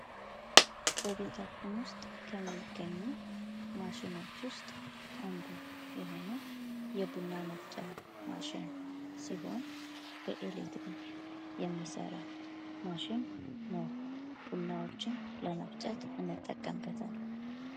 በቤታችን ውስጥ ከሚገኙ ማሽኖች ውስጥ አንዱ የሆኑ የቡና መፍጫን ማሽን ሲሆን በኤሌክትሪክ የሚሠራ ማሽን ነው። ቡናዎችን ለመፍጨት እንጠቀምበታል።